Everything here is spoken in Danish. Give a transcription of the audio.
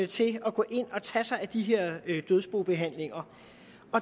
til at gå ind og tage sig af de her dødsbobehandlinger